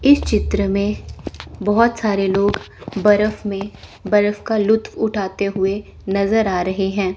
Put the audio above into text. इस चित्र में बहोत सारे लोग बरफ में बरफ का लुप्त उठाते हुए नजर आ रहे हैं।